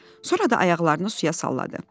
Sonra da ayaqlarını suya salladı.